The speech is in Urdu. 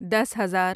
دس ہزار